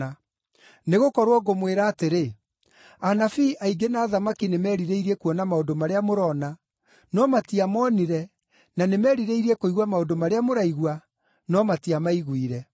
Nĩgũkorwo ngũmwĩra atĩrĩ, anabii aingĩ na athamaki nĩmerirĩirie kuona maũndũ marĩa mũrona, no matiamonire na nĩmerirĩire kũigua maũndũ marĩa mũraigua, no matiamaiguire.”